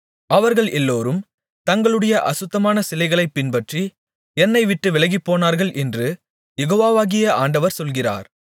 அவர்கள் எல்லோரும் தங்களுடைய அசுத்தமான சிலைகளைப் பின்பற்றி என்னை விட்டுப் விலகிப்போனார்கள் என்று யெகோவாகிய ஆண்டவர் சொல்லுகிறார்